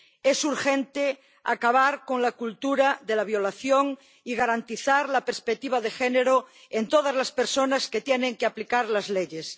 Es urgente acabar con la cultura de la violación y garantizar la perspectiva de género en todas las personas que tienen que aplicar las leyes.